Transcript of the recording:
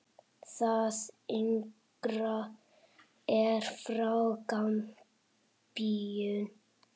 Það yngra er frá Gambíu.